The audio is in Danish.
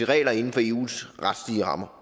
regler inden for eus retslige rammer